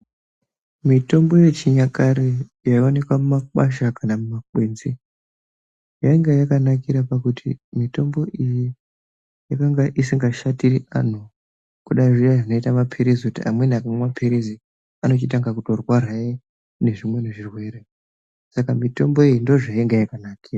Mitombo yechinyakare yaionekwa mumakwasha kana mumakwenzi yainga yakanakira pakuti mitombo iyi yakanga isingashatiri vantu kudai kuya kuti munhu akamwa maphirizi unototangahe kurwara ngezvimweni zvirwere. Saka mitombo iyi ndozvimweni zvayanga yakanakira.